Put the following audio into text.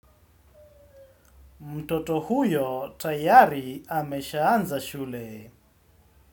Mtoto huyo tayari ameshaanza shule.